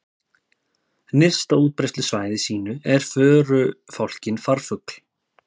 Nyrst á útbreiðslusvæði sínu er förufálkinn farfugl.